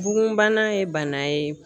Bugunbana ye bana ye.